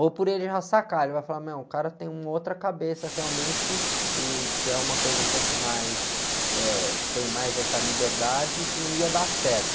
Ou por ele já sacar, ele vai falar, meu, o cara tem uma outra cabeça realmente, e que é uma coisa um pouco mais, eh, tem mais essa liberdade, que não ia dar certo.